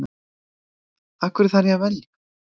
Af hverju þarf ég að velja?